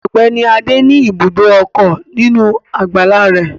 Ọ̀gbẹ́ni adé ní ibùdó ọkọ̀ nínú àgbàlá rẹ̀